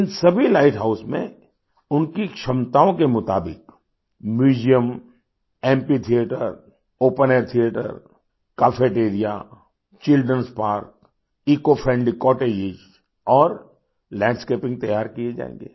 इन सभी lighthouse में उनकी क्षमताओं के मुताबिक museum amphitheatre open air theatre cafeteria childrenएस पार्क ईसीओ फ्रेंडली कॉटेजों और लैंडस्केपिंग तैयार किये जाएंगे